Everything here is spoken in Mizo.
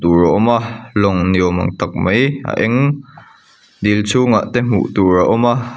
ur a awm a lawng ni awm ang tak mai a eng dil chhungah te hmuh tur a awm a.